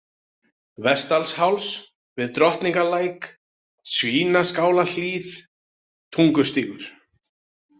Vestdalsháls, Við Drottningarlæk, Svínaskálahlíð, Tungustígur